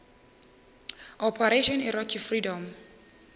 operation iraqi freedom